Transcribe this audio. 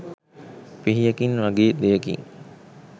පිහියකින් වගේ දෙයකින්